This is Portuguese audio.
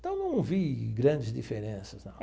Então, não vi grandes diferenças não.